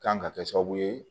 Kan ka kɛ sababu ye